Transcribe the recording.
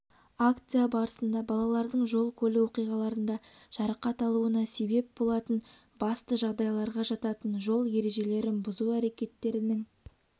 акция барысында балалардың жол-көлік оқиғаларында жарақат алуына себеп болатын басты жағдайларға жататын жол ережелерін бүзу әрекеттерінің